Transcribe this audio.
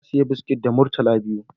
Na saya biskit da murtala biyu